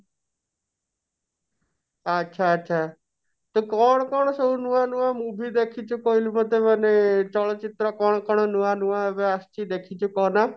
ଆଛା ଆଛା ତୁ କଣ କଣ ସବୁ ନୂଆ ନୂଆ movie ଦେଖିଛୁ କହିଲୁ ମୋତେ ମାନେ ଚଳଚିତ୍ର କଣ କଣ ନୂଆ ନୂଆ ଏବେ ଆସିଛି ଦେଖିଛୁ କହନା?